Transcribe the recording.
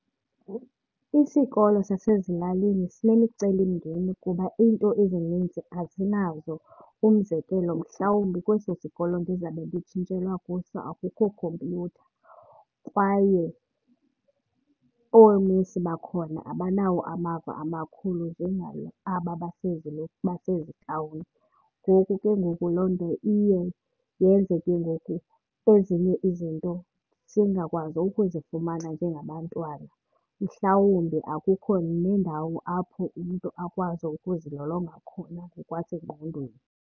Isikolo sasezilalini sinemicelimngeni kuba iinto ezininzi asinazo. Umzekelo, mhlawumbi kweso sikolo ndizabe nditshintshelwa kuso akukho khompyutha kwaye oomisi bakhona abanawo amava amakhulu aba basezitawuni. Ngoku ke ngoku loo nto iye yenze ke ngoku ezinye izinto singakwazi ukuzifumana njengabantwana. Mhlawumbi akukho neendawo apho umntu akwazi ukuzilolonga khona ngokwasengqondweni.